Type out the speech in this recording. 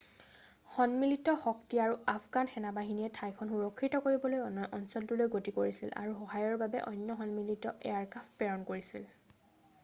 সন্মিলিত শক্তি আৰু আফগান সেনা-বাহিনীয়ে ঠাইখন সুৰক্ষিত কৰিবলৈ অঞ্চলটোলৈ গতি কৰিছিল আৰু সহায়ৰ বাবে অন্য সন্মিলিত এয়াৰক্ৰাফ্ট প্ৰেৰণ কৰিছিল